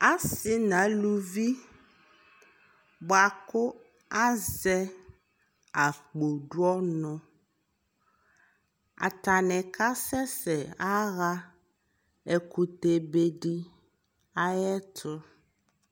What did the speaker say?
asii nʋ alʋvi bʋakʋ azɛ akpɔ dʋ ɔnʋ, atani kasɛsɛ yaha ɛkʋtɛ bɛdi ayɛtʋ